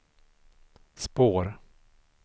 spår